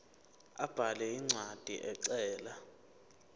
abhale incwadi ecela